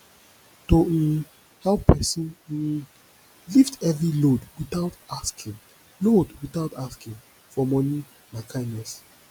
to um help persin um lift heavy load without asking load without asking for money na kindness